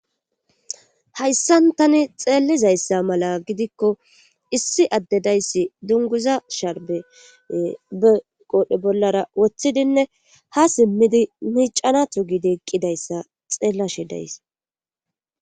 Hayssan tani xeellizayssa mala gidikko issi addedayssi dunguza sharbe be qoodhe bollara woththidinne ha simmidi miicana tugidi eqqidayssa xeellashi days.